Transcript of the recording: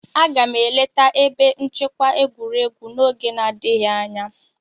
Aga m eleta ebe nchekwa egwuregwu n'oge n'adịghị anya.